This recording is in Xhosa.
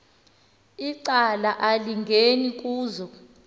icala elingeni kuzo